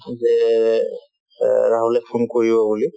যে অ ৰাহুলে phone কৰিব বুলি